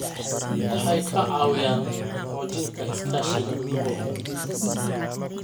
Waxay ka caawiyaan xoojinta iskaashiga gobolka.